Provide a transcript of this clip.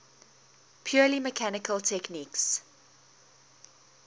purely mechanical techniques